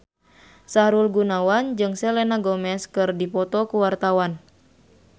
Sahrul Gunawan jeung Selena Gomez keur dipoto ku wartawan